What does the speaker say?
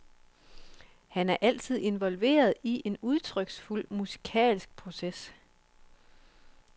Han er altid involveret i en udtryksfuld musikalsk proces.